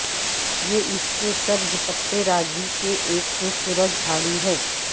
یہ اس کے سبز پتے راضی کہ ایک خوبصورت جھاڑی ہے